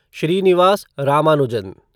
Srinivas Ramanujan